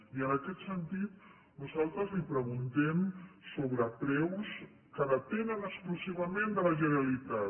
i en aquest sentit nosaltres li preguntem sobre preus que depenen exclusivament de la generalitat